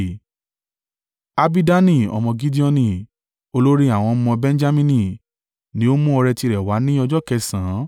Abidani ọmọ Gideoni, olórí àwọn ọmọ Benjamini ni ó mú ọrẹ tirẹ̀ wá ní ọjọ́ kẹsànán.